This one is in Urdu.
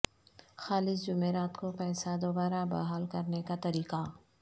خالص جمعرات کو پیسہ دوبارہ بحال کرنے کا طریقہ